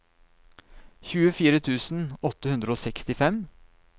tjuefire tusen åtte hundre og sekstifem